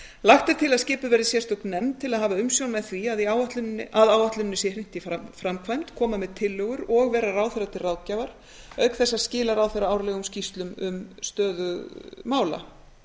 lagt er til að skipuð verði sérstök nefnd til að hafa umsjón með því að áætluninni sé hrint í framkvæmd koma með tillögur og vera ráðherra til ráðgjafar auk þess að skila ráðherra árlegum skýrslum um stöðu mála